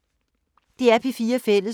DR P4 Fælles